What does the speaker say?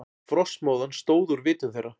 Frostmóðan stóð úr vitum þeirra.